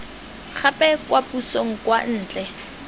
gape kwa pusong kwa ntle